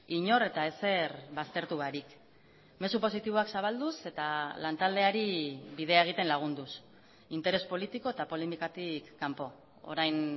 inor eta ezer baztertu barik mezu positiboak zabalduz eta lantaldeari bidea egiten lagunduz interes politiko eta polemikatik kanpo orain